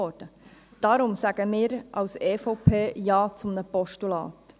Deswegen sagen wir als EVP Ja zu einem Postulat.